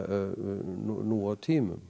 nú á tímum